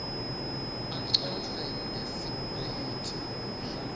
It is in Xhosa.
acofe ngesipeliti mhla